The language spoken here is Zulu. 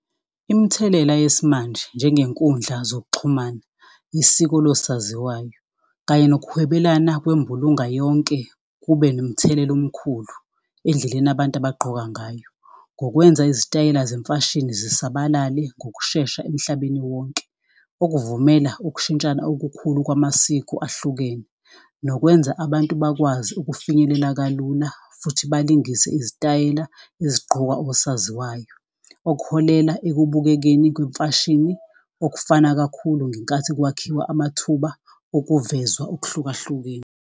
Imithelela yesimanje njengenkundla zokuxhumana, isiko losaziwayo kanye nokuhwebelana kwembulunga yonke kube nomthelela omkhulu endleleni abantu abagqoka ngayo. Ngokwenza izitayela zemfashini zisabalale ngokushesha emhlabeni wonke, okuvumela ukushintshana okukhulu kwamasiko ahlukene, nokwenza abantu bakwazi ukufinyelela kalula futhi balingise izitayela ezigqokwa osaziwayo, okuholela ekubukekeni kwemfashini okufana kakhulu ngenkathi kwakhiwa amathuba okuvezwa okuhlukahlukene.